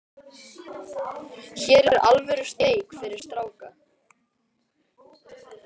Hér er alvöru steik fyrir stráka.